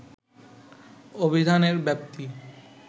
অভিধানের ব্যাপ্তি